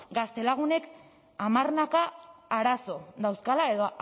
gaztelagunek hamarnaka arazo dauzkala edo